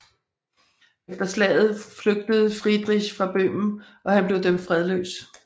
Efter slaget flygtede Friedrich fra Bøhmen og han blev dømt fredløs